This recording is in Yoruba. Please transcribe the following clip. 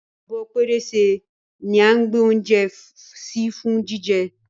Abọ́ pẹrẹsẹ ní a gbè oúnjẹ sí fún jíjẹ